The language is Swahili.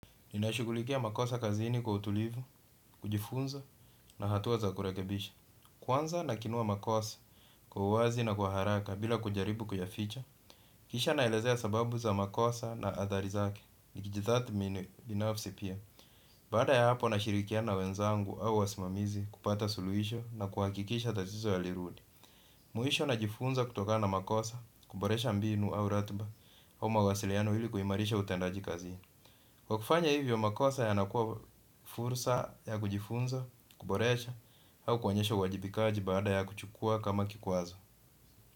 Ninashughulikia makosa kazini kwa utulivu, kujifunza na hatua za kurekebisha. Kwanza nakinua makosa kwa uwazi na kwa haraka bila kujaribu kuyaficha. Kisha naelezea sababu za makosa na athari zake. Nikijitathmini binafsi pia, baada ya hapo nashirikiana na wenzangu au wasimamizi kupata suluhisho na kuhakikisha tatizo halirudi. Mwisho najifunza kutokana na makosa, kuboresha mbinu au ratiba au mawasiliano ili kuimarisha utendaji kazini. Kwa kufanya hivyo, makosa yanakuwa fursa ya kujifunza, kuboresha, au kuonyesha uwajibikaji baada ya kuchukua kama kikwazo.